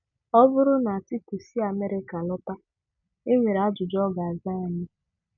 Ọ bụrụ na Atiku si Amerika lọta enwere ajụjụ ọ ga-aza anyị.